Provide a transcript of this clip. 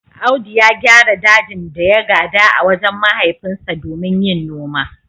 Audu ya gyara dajin da ya gada a wajen mahaifinsa domin yin noma.